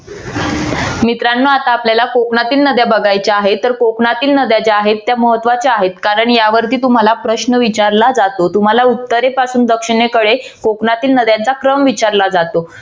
मित्रानो आता आपल्याला कोकणातील नद्या बघायच्या आहेत. तर कोकणातील नद्या ज्या आहेत त्या महत्वाच्या आहेत. कारण यावरती तुम्हाला प्रश्न विचारला जातो. तुम्हाला उत्तरेपासून दक्षिणेकडे कोकणातील नद्यांचा क्रम विचारला जातो.